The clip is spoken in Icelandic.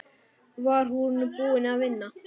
Var hún búin að vinna?